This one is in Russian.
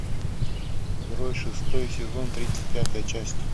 герои шестой сезон тридцать пятая часть